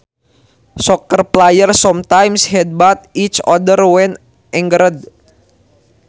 Soccer players sometimes headbutt each other when angered